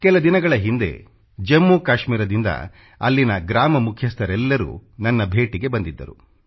ಕೆಲ ದಿನಗಳ ಹಿಂದೆ ಜಮ್ಮು ಕಾಶ್ಮೀರದಿಂದ ಅಲ್ಲಿನ ಗ್ರಾಮ ಮುಖ್ಯಸ್ಥರೆಲ್ಲರೂ ನನ್ನ ಭೇಟಿಗೆ ಬಂದಿದ್ದರು